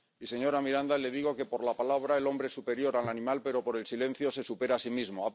Y, señora Miranda, le digo que, por la palabra, el hombre es superior al animal, pero por el silencio se supera a sí mismo.